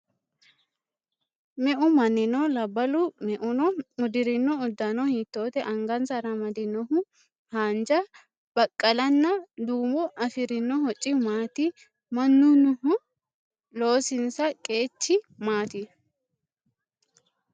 Meu manni no? Labballu meu no? Uddirino uddano hiitoote? Angansara amadinohu haanja, baqqalanna duumo afirino hocci maati? Mannunnihu loosinsa qeechi maati?